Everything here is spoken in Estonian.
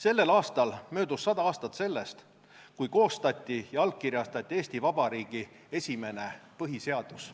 Sellel aastal möödus sada aastat sellest, kui koostati ja allkirjastati Eesti Vabariigi esimene põhiseadus.